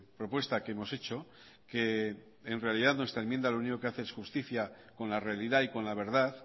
propuesta que hemos hecho que en realidad nuestra enmienda lo único que hace es justicia con la realidad y con la verdad